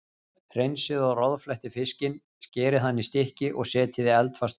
Hreinsið og roðflettið fiskinn, skerið hann í stykki og setjið í eldfast mót.